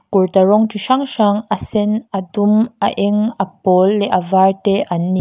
kurta rawng chi hrang hrang a sen a dum a eng a pawl leh a var te an ni.